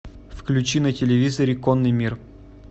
включи на телевизоре конный мир